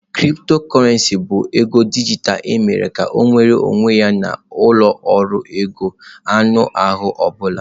Cryptocurrency bụ ego dijitalụ emere ka ọ nweere onwe ya na ụlọ ọrụ ego anụ ahụ ọ bụla.